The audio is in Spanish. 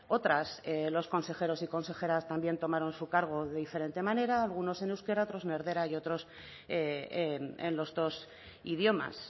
otras los consejeros y consejeras también tomaron su cargo de diferente manera algunos en euskera otro en erdera y otros en los dos idiomas